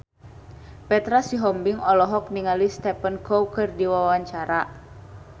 Petra Sihombing olohok ningali Stephen Chow keur diwawancara